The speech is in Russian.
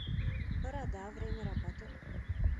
борода время работы